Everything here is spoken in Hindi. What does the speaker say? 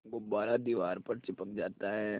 गुब्बारा दीवार पर चिपक जाता है